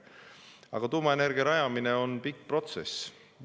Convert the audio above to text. Aga tuuma rajamine on pikk protsess.